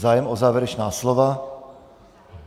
Zájem o závěrečná slova?